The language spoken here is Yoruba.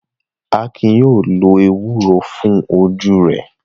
Akin yóò lo ewúro fún ojú rẹ̀.